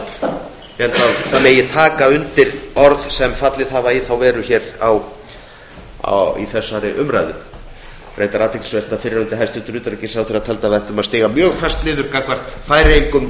held að taka megi undir orð sem hafa fallið í þá veru hér í þessari umræðu það er reyndar athyglisvert að fyrrverandi hæstvirtur utanríkisráðherra taldi að við ættum að stíga mjög fast niður gagnvart færeyingum